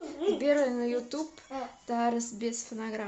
сбер на ютуб тарас без фонограмм